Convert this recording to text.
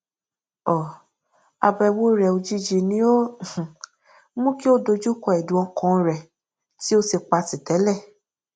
um àbẹwò rẹ òjijì ni ó um mú kí ó dojúkọ ẹdùn ọkan rẹ tí ó ti patì tẹlẹ